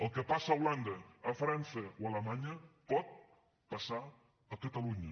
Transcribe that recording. el que passa a holanda a frança o a alemanya pot passar a catalunya